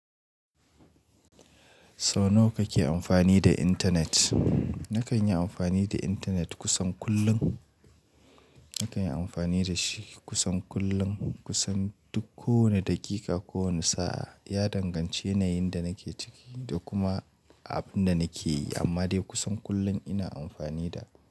Sau nawa kake amfani da intanet? Nakan yi amfani da intanet kusan kullum. Nakan yi amfani da shi kusan kullum, kusan duk kowane daƙiƙa, kowane sa'a. Ya danganci yanayin da nake ciki da kuma abin da nake yi, amma dai kusan kullum ina amfani da.